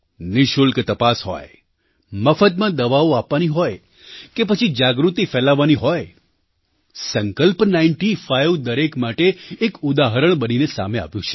નિઃશુલ્ક તપાસ હોય મફતમાં દવાઓ આપવાની હોય કે પછી જાગૃતિ ફેલાવવાની હોય સંકલ્પ નાઇન્ટી ફાઇવ દરેક માટે એક ઉદાહરણ બનીને સામે આવ્યું છે